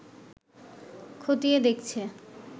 খতিয়ে দেখছে